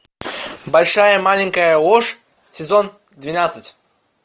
большая маленькая ложь сезон двенадцать